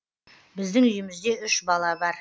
біздің үйімізде үш бала бар